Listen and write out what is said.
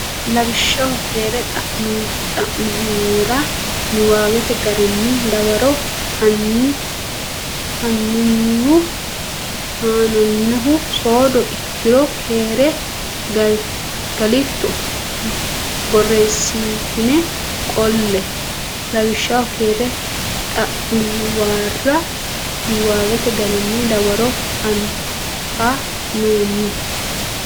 Lawishshaho keere xa muwara niwaawete garinni dawaro haa nannihu soodo ikkiro keere galitto borreessitine qolle Lawishshaho keere xa muwara niwaawete garinni dawaro haa nannihu.